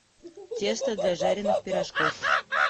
тесто для жареных пирожков